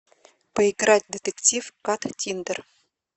поиграть в детектив каттиндер